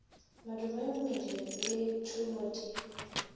madume mmele le thumo di